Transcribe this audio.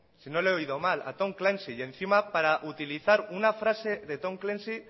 si no le he oído mal a tom clancy y encima para utilizar una frase de tom clancy